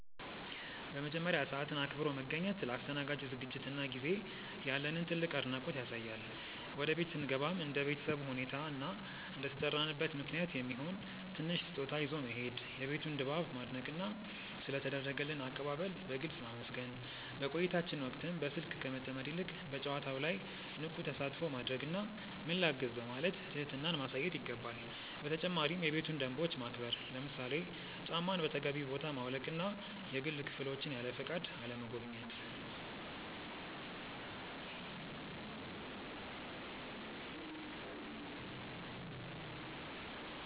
በመጀመሪያ፣ ሰዓትን አክብሮ መገኘት ለአስተናጋጁ ዝግጅትና ጊዜ ያለንን ትልቅ አድናቆት ያሳያል። ወደ ቤት ስንገባም እንደ ቤተሰቡ ሁኔታ እና እንደተጠራንበት ምክንያት የሚሆን ትንሽ ስጦታ ይዞ መሄድ፣ የቤቱን ድባብ ማድነቅና ስለ ተደረገልን አቀባበል በግልጽ ማመስገን። በቆይታችን ወቅትም በስልክ ከመጠመድ ይልቅ በጨዋታው ላይ ንቁ ተሳትፎ ማድረግና "ምን ላግዝ?" በማለት ትህትናን ማሳየት ይገባል። በተጨማሪም የቤቱን ደንቦች ማክበር፣ ለምሳሌ ጫማን በተገቢው ቦታ ማውለቅና የግል ክፍሎችን ያለፈቃድ አለመጎብኘት።